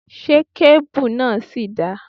Ṣé kéébù náà ṣì dáa?